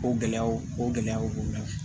O gɛlɛyaw o gɛlɛyaw b'u la